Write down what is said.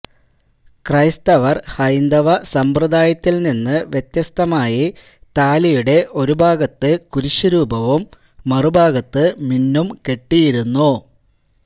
ക്രൈസ്തവർ ഹൈന്ദവ സമ്പ്രദായത്തിൽനിന്ന് വ്യത്യസ്തമായി താലിയുടെ ഒരു ഭാഗത്ത് കുരിശുരൂപവും മറുഭാഗത്ത് മിന്നും കെട്ടിയിരുന്നു